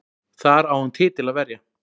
Þar á hann titil að verja